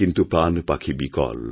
কিন্তু প্রাণপাখি বিকল